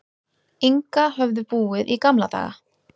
Inga höfðu búið í gamla daga.